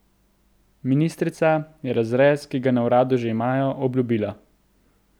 Ministrica je razrez, ki ga na uradu že imajo, obljubila.